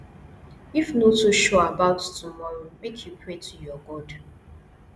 if no too sure about tomorrow make you pray to your god